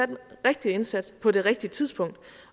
den rigtige indsats på det rigtige tidspunkt